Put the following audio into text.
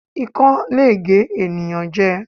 Ikán le gé ẹ̀yàn jẹ.